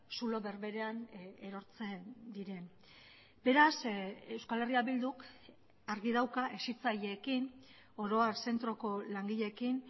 zulo berberean erortzen diren beraz euskal herria bilduk argi dauka hezitzaileekin oro har zentroko langileekin